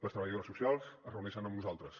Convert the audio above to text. les treballadores socials es reuneixen amb nosaltres